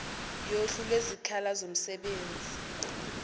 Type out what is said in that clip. yohlu lwezikhala zomsebenzi